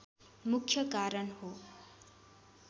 मुख्य कारण हो